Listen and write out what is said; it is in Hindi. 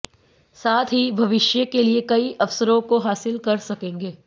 साथ ही भविष्य के लिए कई अवसरों को हासिल कर सकेंगे